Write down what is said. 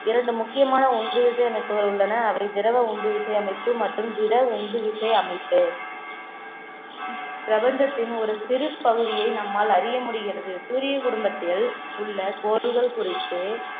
இரண்டு முக்கியமான ஒன்று விசை அமைப்புகள் உள்ளன அவை திரவ உந்து விசையமைப்பு மற்றும் திட உந்து விசை அமைப்பு இப்பிரபஞ்சத்தின் ஒரு சிறு பகுதியை நம்மால் அறிய முடிகிறது சூரிய குடும்பத்தில் உள்ள கோள்கள் குறித்து